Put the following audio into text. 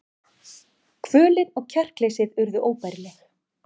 Kvölin og kjarkleysið urðu óbærileg.